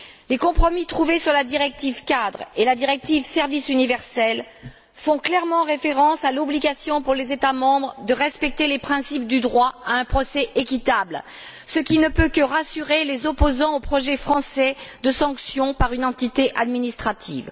Les compromis trouvés sur la directive cadre et la directive Service universel font clairement référence à l'obligation pour les États membres de respecter les principes du droit à un procès équitable, ce qui ne peut que rassurer les opposants au projet français de sanction par une entité administrative.